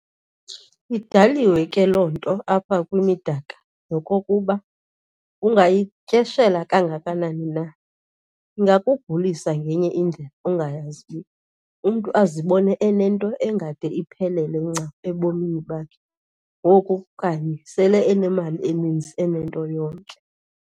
Idaliwe ke loo nto apha kwimidaka, nokokuba ungayityeshela kangakanani na, ingakugulisa ngenye indlela ongayaziyo, umntu azibone enento engade iphelele ncam ebomini bakhe ngoku kanye sele enemali eninzi enento yonke.